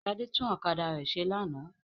Ṣadé tún ọ̀kadà rẹ̀ ṣe lánàá.